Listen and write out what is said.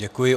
Děkuji.